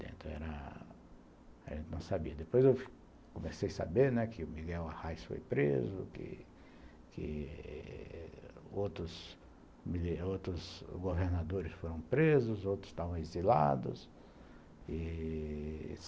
Depois eu comecei a saber que o Miguel Arraes foi preso, que que outros outros governadores foram presos, outros estavam exilados e...